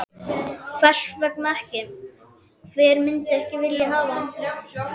Hvers vegna ekki, hver myndi ekki vilja hafa hann?